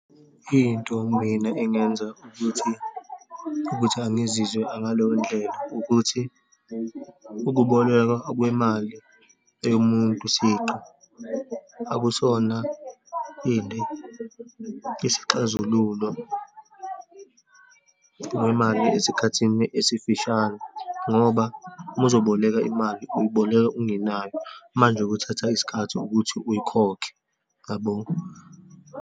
Into mina engenza ukuthi, ukuthi angizizwa ngaleyondlela ukuthi, ukubolekwa okwemali yomuntu siqu akusona, ini isixazululo kwemali esikhathini esifishane, ngoba uma uzoboleka imali uyiboleka ungenayo, manje kuthatha isikhathi ukuthi uyikhokhe, yabo.